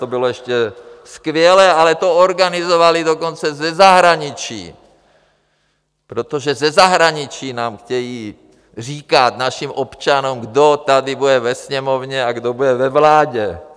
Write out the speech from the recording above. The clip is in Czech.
To bylo ještě skvělé, ale to organizovali dokonce ze zahraničí, protože ze zahraničí nám chtějí říkat, našim občanům, kdo tady bude ve Sněmovně a kdo bude ve vládě.